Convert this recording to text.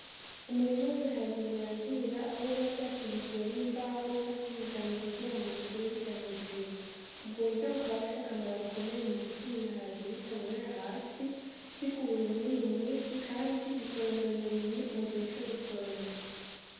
Umurima w'ibiharage birandira, aho biba vyashigikiwe n'imbaho canke imigano kugira bikure bija hejuru, ubwo buryo bukaba bufise akamaro gakomeye mugutuma ibiharage bitaborera hasi, bikurura umwimbu mwinshi kandi bikorohera umurimyi mugihe co gusoroma.